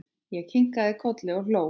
Ég kinkaði kolli og hló.